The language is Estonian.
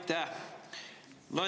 Aitäh!